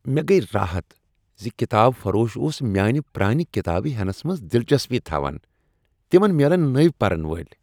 مےٚ گٔیۍ راحت ز کتاب فروش اوس میانِہ پرانِہ کتابہٕ ہینس منٛز دلچسپی تھاوان۔ تمن میلن نوۍ پرن وٲلۍ۔